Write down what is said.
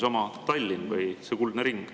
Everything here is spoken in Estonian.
Näiteks võib tuua Tallinna ja selle kuldse ringi.